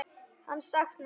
Hann saknar þín.